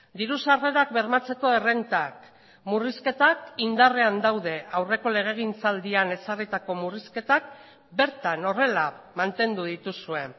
diru sarrerak bermatzeko errentak murrizketak indarrean daude aurreko legegintzaldian ezarritako murrizketak bertan horrela mantendu dituzue